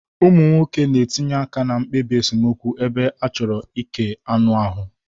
Ụmụ nwoke na-etinye aka na mkpebi esemokwu ebe a chọrọ ike anụ ahụ.